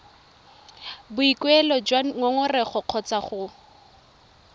boikuelo jwa ngongorego kgotsa go